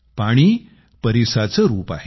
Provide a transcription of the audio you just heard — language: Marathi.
पाणी परीसाचं रूप आहे